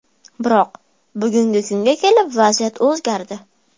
Biroq, bugungi kunga kelib vaziyat o‘zgardi.